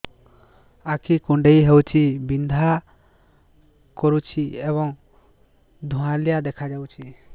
ଆଖି କୁଂଡେଇ ହେଉଛି ବିଂଧା କରୁଛି ଏବଂ ଧୁଁଆଳିଆ ଦେଖାଯାଉଛି